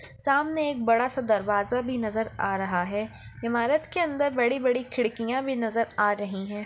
सामने एक बड़ा सा दरवाजा भी नजर आ रहा हैं ईमारत के अंदर बड़ी-बड़ी खिड़कियाँ भी नजर आ रही हैं।